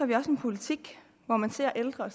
vi også en politik hvor man ser ældre